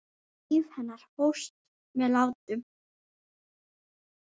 Líf hennar hófst með látum.